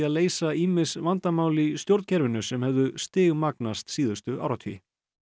leysa ýmis vandamál í stjórnkerfinu sem hefðu stigmagnast síðustu áratugi